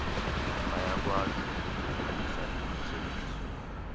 bayakwazi ukufezekisa izithembiso